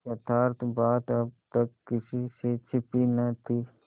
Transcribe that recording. यथार्थ बात अब किसी से छिपी न थी